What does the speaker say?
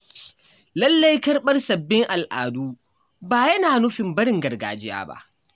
Lallai Karɓar sabbin al’adu ba yana nufin barin gargajiya ba.